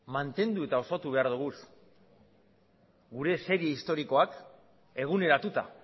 mantendu eta osatu behar ditugu gure serie historikoak eguneratuta